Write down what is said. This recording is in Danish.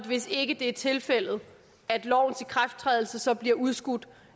hvis ikke det er tilfældet at lovens ikrafttrædelse så bliver udskudt